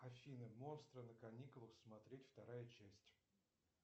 афина монстры на каникулах смотреть вторая часть